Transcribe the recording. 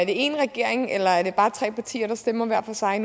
én regering eller er det bare tre partier der stemmer hver for sig